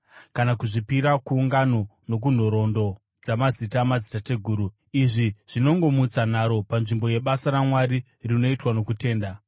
kana kuzvipira kungano nokunhoroondo dzamazita amadzitateguru dzisingaperi. Izvi zvinongomutsa nharo panzvimbo yebasa raMwari rinoitwa nokutenda.